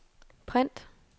print